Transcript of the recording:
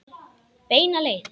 Beina leið.